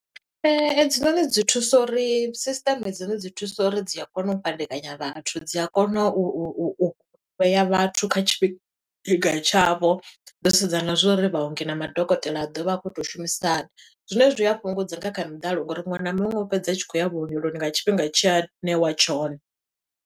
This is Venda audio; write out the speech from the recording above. Edzinoni dzi thusa uri, sisteme dzone dzi thusa uri dzi a kona u fhadekanya vhathu, dzi a kona u vhea vhathu kha tshifhinga tshavho. Dzo sedza na zwo uri vhaongi na madokotela a ḓovha a khou to shumisa hani, Zwine zwi a fhungudza nga kha miḓalo ngo uri muṅwe na muṅwe u fhedza a tshi khou ya vhuongeloni, nga tshifhinga tshe a ṋewa tshone.